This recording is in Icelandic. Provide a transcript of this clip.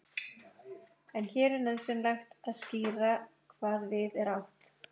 En hér er auðvitað nauðsynlegt að skýra hvað við er átt.